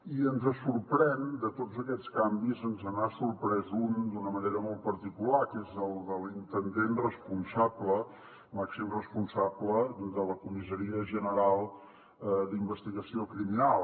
i de tots aquests canvis ens n’ha sorprès un d’una manera molt particular que és el de l’intendent màxim responsable de la comissaria general d’investigació criminal